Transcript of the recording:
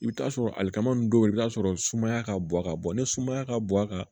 I bɛ t'a sɔrɔ ali kama nunnu do i bi t'a sɔrɔ sumaya ka bɔ a ka bɔ ni sumaya ka bɔ a kan